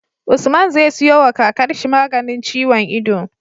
Usman zai siyo wa kakar shi maganin ciwon ido